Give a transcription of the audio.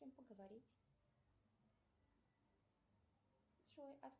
поговорить